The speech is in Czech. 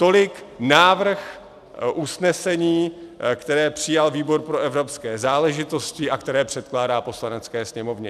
Tolik návrh usnesení, které přijal výbor pro evropské záležitosti a které předkládá Poslanecké sněmovně.